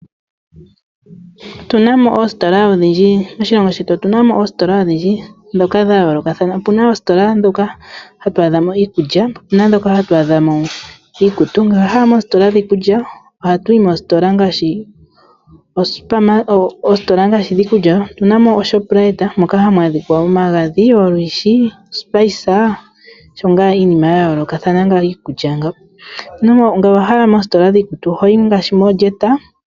Moshilongo shetu otuna mo oositola odhindji ndhoka dhayoolokathana. Opuna oositola ndhoka hatu adhamo iikulya, opuna ndhoka hatu adhamo iikutu. Ngele owahala moositola dhiikulya ohatuyi moositola ngaashi, oositola ngaashi dhiikulya otuna mo oShoprite moka hamu adhika omagadhi, olwiishi, ospice osho ngaa iinima yayoolokathana iikulya ngawo, ngele owahala moositola dhiikutu ohoyi ngaashi mooJet.